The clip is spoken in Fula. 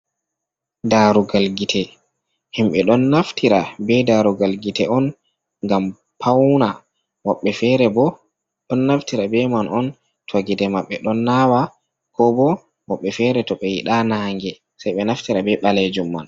Darugal gite. Himɓe ɗon naftira be darugal gite on ngam pawna. Woɓbe fere bo ɗon naftira be man on to gite maɓɓe ɗon nawa, ko bo woɓɓe fere to ɓe yiɗa nange sei ɓe naftira be ɓalejum man.